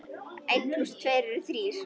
Einn plús tveir eru þrír.